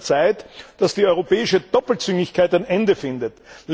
Es ist also Zeit, dass die europäische Doppelzüngigkeit ein Ende findet.